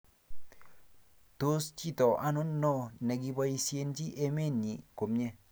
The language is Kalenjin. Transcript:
tos chito anonon ne kiboisiechi emet nyin komye?